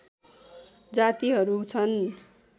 जातिहरू छन्